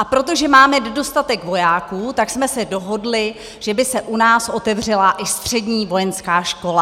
A protože máme nedostatek vojáků, tak jsme se dohodli, že by se u nás otevřela i střední vojenská škola.